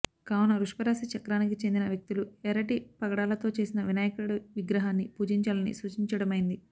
కావున వృషభ రాశిచక్రానికి చెందిన వ్యక్తులు ఎర్రటి పగడాలతో చేసిన వినాయకుడి విగ్రహాన్ని పూజించాలని సూచించడమైనది